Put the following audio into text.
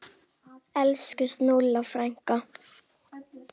Elsku Snúlla frænka.